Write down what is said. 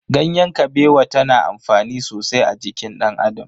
Ganyen Kabewa ta na amfani sosai a jikin dan Adam.